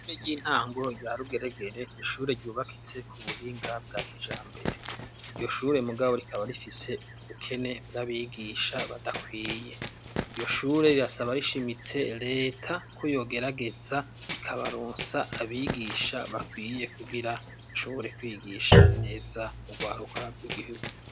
Ishure ry'intango rya Rugeregere ni ishure ryubakitse ku buhinga bwa kijambere. Iryo shure mugabo rikaba rifise ubukene bw'abigisha badakwiye. Iryo shure rirasaba rishimitse reta ko yogerageza ikabaronsa abigisha bakwiye kugira shobore kwigisha neza urwaruka rw'igihugu.